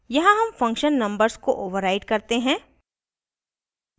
यहाँ हम function numbers को override करते हैं